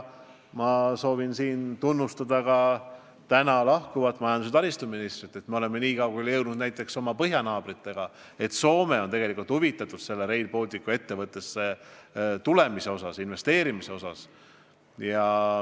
Ma soovin siin tunnustada ka ametist lahkuvat majandus- ja taristuministrit, et me oleme nii kaugele jõudnud suhetes oma põhjanaabritega: Soome on tegelikult huvitatud Rail Balticusse investeerimisest.